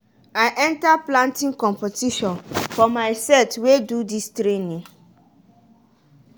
i enter planting competition for my set wey do dis training